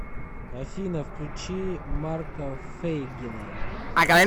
афина включи марка фейгина